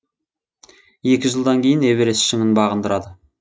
екі жылдан кейін эверест шыңын бағындырады